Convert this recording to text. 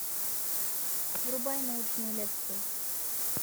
врубай научную лекцию